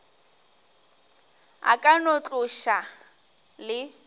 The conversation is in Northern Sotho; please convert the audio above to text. a ka no tloša le